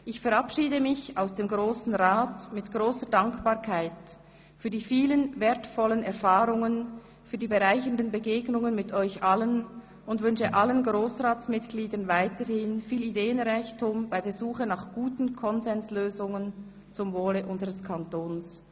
Ich verabschiede mich aus dem Grossen Rat mit grosser Dankbarkeit für die vielen wertvollen Erfahrungen, die bereichernden Begegnungen mit euch allen und wünsche allen Grossratsmitgliedern weiterhin viel Ideenreichtum bei der Suche nach guten Konsenslösungen zum Wohle unseres Kantons.